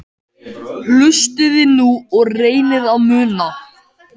Hlustiði nú og reynið að muna